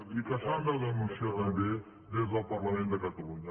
i que s’han de denunciar també des del parlament de catalunya